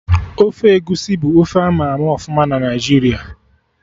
Ofe egusi bụ ofe ama ama ọfụma na Naijiria